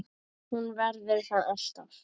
Hún verður það alltaf